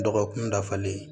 Dɔgɔkun dafalen